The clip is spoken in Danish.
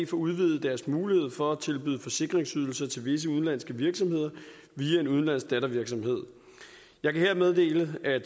får udvidet sin mulighed for at tilbyde forsikringsydelser til visse udenlandske virksomheder via en udenlandsk dattervirksomhed jeg kan her meddele at